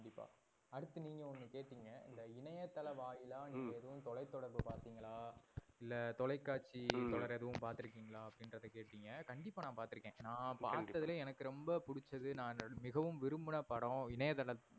இணையதளவாயிலா ஹம் நீங்க எதும் தொலைதொடர்பு பாத்திங்களா? இல்ல தொலைகாட்சி தொடர் எதும் பாத்திருக்கீங்களா அப்டினுரத நீங்க கேட்டிங்க, கண்டிப்பா நா பாத்து இருக்கன். நா பாத்ததுலலையே எனக்கு ரொம்ப புடிச்சது நா மிகவும் விரும்புன படம் இணையதளத்துல